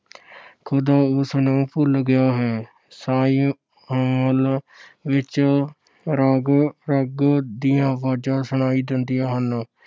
ਖ਼ੁਦਾ ਉਸਨੂੰ ਭੁੱਲ ਗਿਆ ਹੈ। ਸ਼ਾਹੀ ਮਹਿਲ ਵਿੱਚ ਰਾਗ ਰੰਗ ਦੀਆਂ ਆਵਾਜ਼ਾਂ ਸੁਣਾਈ ਦਿੰਦੀਆਂ ਹਨ।